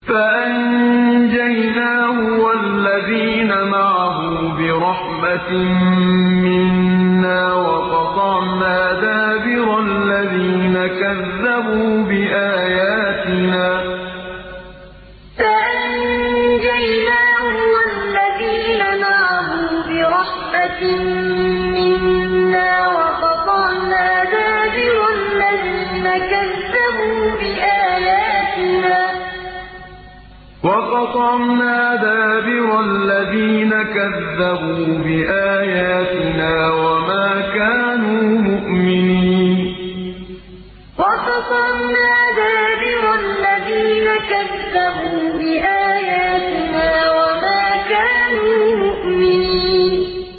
فَأَنجَيْنَاهُ وَالَّذِينَ مَعَهُ بِرَحْمَةٍ مِّنَّا وَقَطَعْنَا دَابِرَ الَّذِينَ كَذَّبُوا بِآيَاتِنَا ۖ وَمَا كَانُوا مُؤْمِنِينَ فَأَنجَيْنَاهُ وَالَّذِينَ مَعَهُ بِرَحْمَةٍ مِّنَّا وَقَطَعْنَا دَابِرَ الَّذِينَ كَذَّبُوا بِآيَاتِنَا ۖ وَمَا كَانُوا مُؤْمِنِينَ